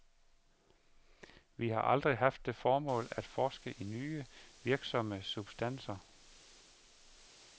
Vi har aldrig haft det formål at forske i nye, virksomme substanser.